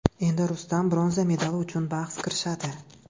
Endi Rustam bronza medali uchun bahs kirishadi.